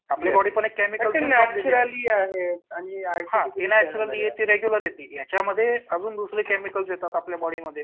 आपली बॉडी पण एक केमिकल बनलेली आहे. हां ती नॅच्युरली ती वेगळी आहे ती याच्यामध्ये अजून दुसरे केमिकल्स येतात आपल्या बॉडीमध्ये.